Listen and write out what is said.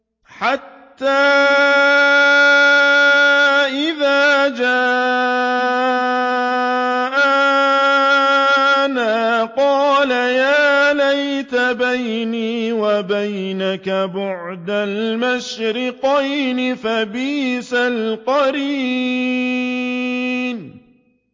حَتَّىٰ إِذَا جَاءَنَا قَالَ يَا لَيْتَ بَيْنِي وَبَيْنَكَ بُعْدَ الْمَشْرِقَيْنِ فَبِئْسَ الْقَرِينُ